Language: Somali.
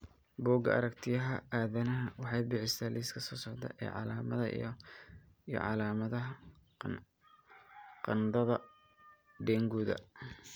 Bugga Aragtiyaha Aadanaha waxay bixisaa liiska soo socda ee calaamadaha iyo calaamadaha qandhada Denguda.